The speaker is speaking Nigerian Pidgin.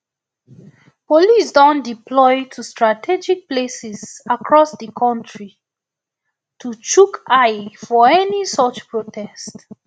police don deploy to strategic places across di kontri um to chook eye for any such protests um